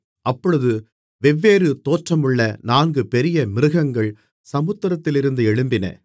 அப்பொழுது வெவ்வேறு தோற்றமுள்ள நான்கு பெரிய மிருகங்கள் சமுத்திரத்திலிருந்து எழும்பின